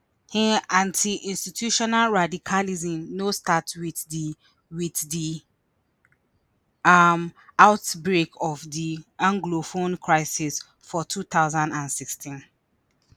anti-institutional radicalism no start wit di wit di um outbreak of di anglophone crisis for two thousand and sixteen